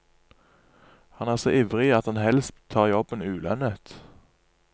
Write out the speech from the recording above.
Han er så ivrig at han helst tar jobben ulønnet.